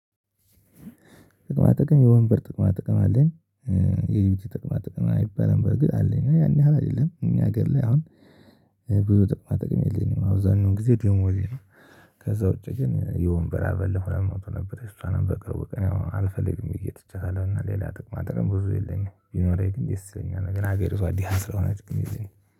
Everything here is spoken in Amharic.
ጥቅማ ጥቅም የወንበር ጥቅማ ጥቅም አለኝ። የዩቲዩብ ጥቅማ ጥቅም አይባልም በርግጥ አለኝ ግን ያን ያህል አይደለም እኛ ሀገር ላይ አሁን። ብዙ ጥቅማ ጥቅም የለኝም አብዛንም ጊዜ ደሞዜ ነው። ከዛ ውጪ ግን የወንበር አበል ሆነ ለመሞት ነበር እሷንም በቅርቡ ቀን ያው አልፈልግም ብዬ ትቻታለሁ። እና ሌላ ጥቅማ ጥቅም ብዙ የለኝም። ቢኖረኝ ግን ደስ ይለኛል ነገር ሀገሪቷ ደሃ ስለሆነች ግን የለኝም